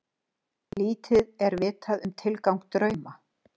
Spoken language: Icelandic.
Lítið er vitað um tilgang drauma.